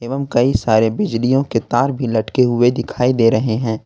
एवं कई सारे बिजलियों के तार भी लटके हुए दिखाई दे रहे हैं।